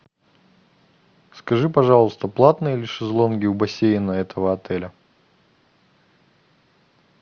скажи пожалуйста платные ли шезлонги у бассейна этого отеля